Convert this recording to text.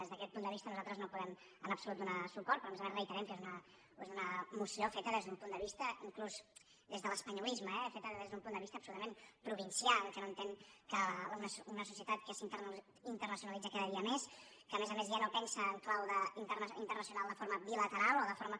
des d’aquest punt de vista nosaltres no hi podem en absolut donar suport però a més a més reiterem que és una moció inclús des de l’espanyolisme eh feta des d’un punt de vista absolutament provincià que no entén que una societat que s’internacionalitza cada dia més que a més a més ja no pensa en clau internacional de forma bilateral o de forma